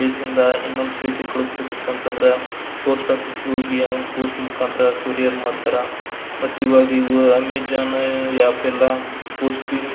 place ಇಂದ ಇನ್ನೊಂದ್ place ಗೆ ಕಲಿಸಬೇಕಿತ್ತಂದ್ರ ಪೋಸ್ಟ್ ಆಫೀಸ್ ಗೆ ಹೋಗಿ ಅವ್ನು ಪೋಸ್ಟ್ ಆಫೀಸ್ ಮುಕಾಂತರ ಕರ್ರಿರ್ ಮಾಡ್ತಾರಾ ಮತ್ತ್ ಇವಾಗ ಅಮೆಜಾನ್ ಆಪ್ ಎಲ್ಲ ಪೋಸ್ಟ್ --